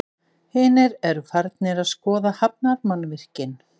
Hinir eru farnir að skoða hafnarmannvirkin.